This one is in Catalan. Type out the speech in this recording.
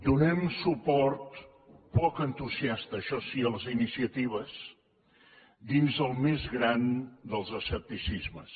donem suport poc entusiasta això sí a les iniciatives dins el més gran dels escepticismes